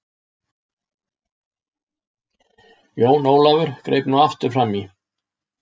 Jón Ólafur greip nú aftur framí.